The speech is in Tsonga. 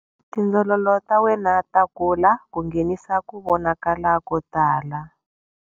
Tindzololo ta wena ta kula ku nghenisa ku vonakala ko tala.